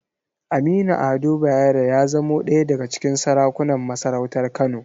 Aminu Ado Bayero ya zamo ɗaya daga cikin sarakunan masarautar Kano.